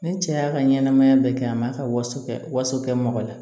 Ni cɛ y'a ka ɲɛnɛmaya bɛɛ kɛ a ma ka waso kɛ waso kɛ mɔgɔ la